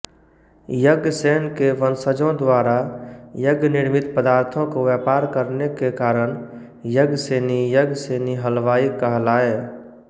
यज्ञसेन के वंशजो द्वारा यज्ञनिर्मित पदार्थों को व्यापार करने के कारण यज्ञसेनी यज्ञसेनी हलवाई कहलाए